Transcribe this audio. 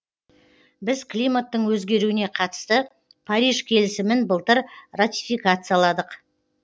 біз климаттың өзгеруіне қатысты париж келісімін былтыр ратификацияладық